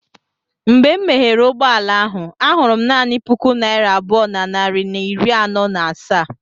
Mgbe m meghere ụgbọ ala ahụ, ahụrụ m naanị puku naira abụọ na narị na iri anọ na asaa.